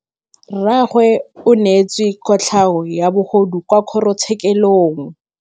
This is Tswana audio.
Rragwe o neetswe kotlhaô ya bogodu kwa kgoro tshêkêlông.